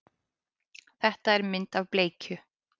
Þetta er mynd af bleikju.